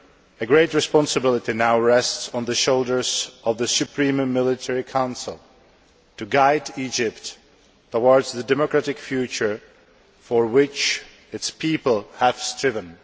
A great responsibility now rests on the shoulders of the Supreme Military Council to guide Egypt towards the democratic future for which its people have striven.